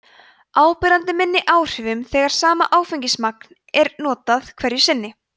áberandi minni áhrifum þegar sama áfengismagn er notað hverju sinni